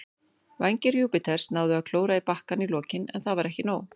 Vængir Júpiters náðu að klóra í bakkann í lokin, en það var ekki nóg.